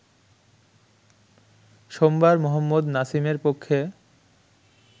সোমবার মোহাম্মদ নাসিমের পক্ষে